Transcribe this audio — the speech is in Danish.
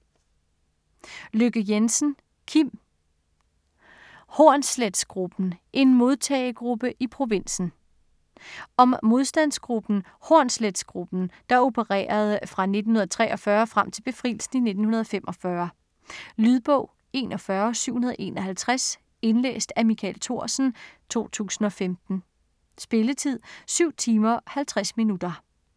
Lykke Jensen, Kim: Hornsletgruppen: en modtagegruppe i provinsen Om modstandsgruppen Hornsletgruppen, der opererede fra 1943 og frem til befrielsen i 1945. Lydbog 41751 Indlæst af Michael Thorsen, 2015. Spilletid: 7 timer, 50 minutter.